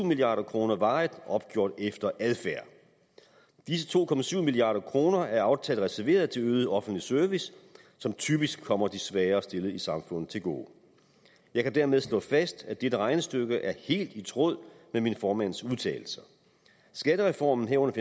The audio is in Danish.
milliard kroner varigt opgjort efter adfærd disse to milliard kroner er aftalt reserveret til øget offentlig service som typisk kommer de svagere stillede i samfundet til gode jeg kan dermed slå fast at dette regnestykke er helt i tråd med min formands udtalelser skattereformen herunder